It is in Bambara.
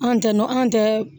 An tɛ nɔn an tɛ